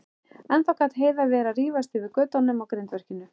Ennþá gat Heiða verið að rífast yfir götunum á grindverkinu.